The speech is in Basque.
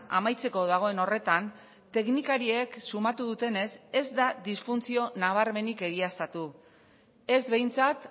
amaitzeko dagoen horretan teknikariek sumatu dutenez ez da disfuntzio nabarmenik egiaztatu ez behintzat